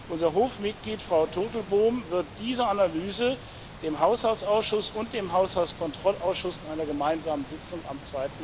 Unser Hofmitglied Frau Turtelboom wird diese Analyse dem Haushaltsausschuss und dem Haushaltskontrollausschuss in einer gemeinsamen Sitzung am